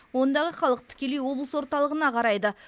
ондағы халық тікелей облыс орталығына қарайды